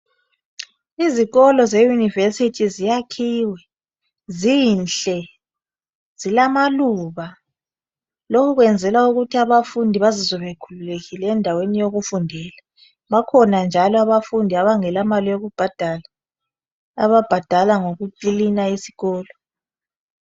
Izikolo ze yunivesithi ziyakhiwe zinhle zilamaluba lokhu kwenzelwa ukuthi abafundi bazizwe bekhululekile endaweni yokufundela. Bakhona njalo abafundi abangela mali yokubhadala ababhadala ngoku kilina esikolo.